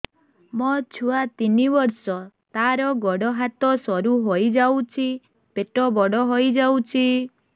ମୋ ଛୁଆ ତିନି ବର୍ଷ ତାର ଗୋଡ ହାତ ସରୁ ହୋଇଯାଉଛି ପେଟ ବଡ ହୋଇ ଯାଉଛି